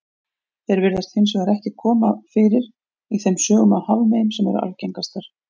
Þeir virðast hins vegar ekki koma fyrir í þeim sögum af hafmeyjum sem eru algengastar.